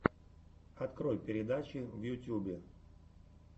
открой передачи в ютюбе